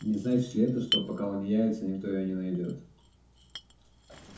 не значит ли это что пока он не явится никто её не найдёт